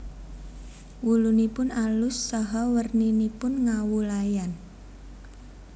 Wulunipun alus saha werninipun ngawu layan